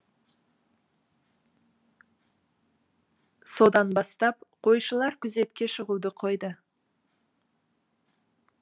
содан бастап қойшылар күзетке шығуды қойды